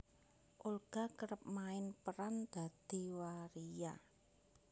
Olga kerep main peran dadi waria